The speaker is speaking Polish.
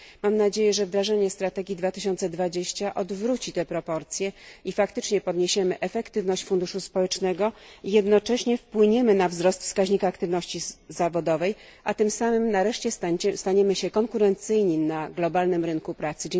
Mam nadzieję, że wdrażanie strategii 2020 odwróci te proporcje, faktycznie zwiększymy skuteczność funduszu społecznego i jednocześnie wpłyniemy na wzrost wskaźnika aktywności zawodowej, a tym samym nareszcie staniemy się konkurencyjni na globalnym rynku pracy.